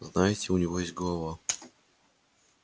знаете у него есть голова